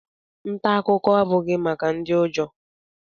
Nta akụkọ abụghị maka ndị ụjọ